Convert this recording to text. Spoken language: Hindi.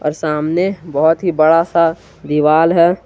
और सामने बहुत ही बड़ा सा दीवाल है।